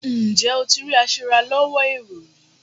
Ǹjẹ́ o ti rí aṣèràlọ́wọ́ èrò?